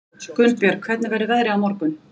Gunnbjörg, hvernig verður veðrið á morgun?